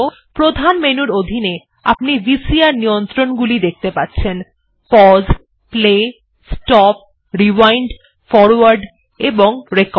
প্রধান মেনুর অধীনে আপনি ভিসিআর নিয়ন্ত্রণগুলি দেখত়ে পাচ্ছেন pause play stop rewind forward এবং রেকর্ড